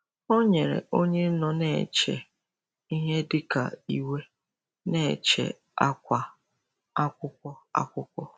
Ọ nyere onye nọ na-eche ihe dị ka iwe na-eche akwa akwụkwọ. akwụkwọ.